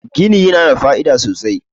gini yana da fa'ida sosai